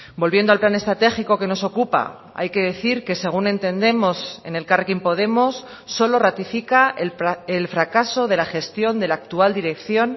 volviendo al plan estratégico que nos ocupa hay que decir que según entendemos en elkarrekin podemos solo ratifica el fracaso de la gestión de la actual dirección